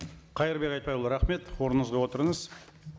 қайырбек айтбайұлы рахмет орныңызға отырыңыз